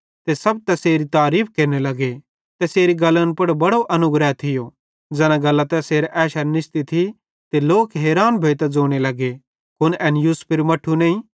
ते सब तैसेरी तारीफ़ केरने लगे ते तैसेरी गल्लन पुड़ बड़ो अनुग्रह थियो ज़ैना गल्लां तैसेरे एशेरां निसती थी ते लोक हैरान भोइतां ज़ोने लगे कुन एन यूसुफेरू मट्ठू नईं